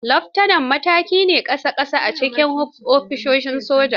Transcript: Leftanar, mataki na ƙasa-ƙasa ne a cikin hafsoshin soja.